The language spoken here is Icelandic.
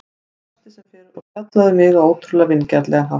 Hún brosti sem fyrr og spjallaði við mig á ótrúlega vingjarnlegan hátt.